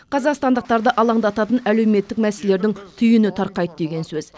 қазақстандықтарды алаңдататын әлеуметтік мәселелердің түйіні тарқайды деген сөз